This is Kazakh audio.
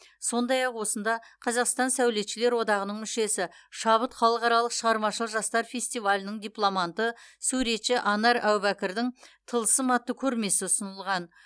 сондай ақ осында қазақстан сәулетшілер одағының мүшесі шабыт халықаралық шығармашыл жастар фестивалінің дипломанты суретші анар әубәкірдің тылсым атты көрмесі ұсынылған